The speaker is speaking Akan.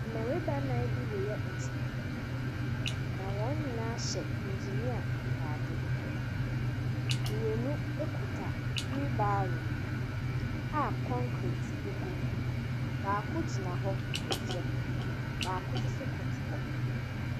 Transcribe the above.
Mmarima nnan bi reyɛ adwuma, na wɔn nyinaa hyɛ engineer atade. Mmienu kuta wheelbarrow a kɔnket gu mu. Baako gyina hɔ rehwɛ, baako nso sno koto hɔ.